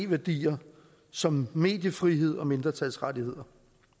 værdier som mediefrihed og mindretalsrettigheder